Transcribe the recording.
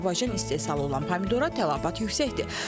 Azərbaycan istehsalı olan pomidora tələbat yüksəkdir.